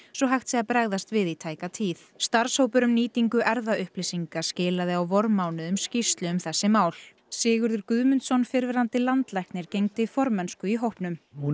svo hægt sé að bregðast við í tæka tíð starfshópur um nýtingu erfðaupplýsinga skilaði á vormánuðum skýrslu um þessi mál Sigurður Guðmundsson fyrrverandi landlæknir gegndi formennsku í hópnum hún